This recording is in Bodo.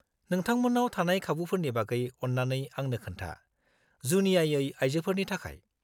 -नोंथांमोन्नाव थानाय खाबुफोरनि बागै अन्नानै आंनो खोन्था, जुनियायै आयजोफोरनि थाखाय।